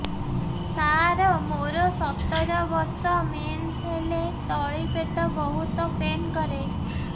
ସାର ମୋର ସତର ବର୍ଷ ମେନ୍ସେସ ହେଲେ ତଳି ପେଟ ବହୁତ ପେନ୍ କରେ